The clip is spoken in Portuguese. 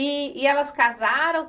E e elas casaram?